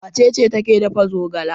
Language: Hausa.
Wace ce take dafa zogala?